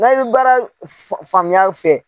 Na i bɛ baara faamuya fɛ